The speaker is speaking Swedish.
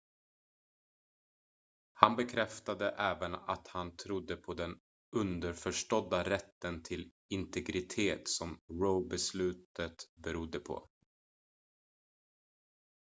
han bekräftade även att han trodde på den underförstådda rätten till integritet som roe-beslutet berodde på